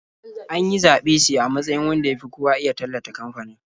An yi zaɓe shi a matsayin wanda ya fi kowa iya tallata kamfanin.